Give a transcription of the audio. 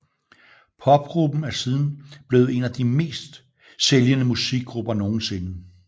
Popgruppen er siden blevet en af de bedst sælgende musikgrupper nogensinde